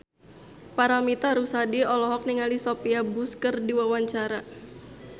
Paramitha Rusady olohok ningali Sophia Bush keur diwawancara